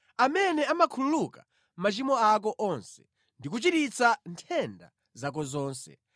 Amene amakhululuka machimo ako onse ndi kuchiritsa nthenda zako zonse,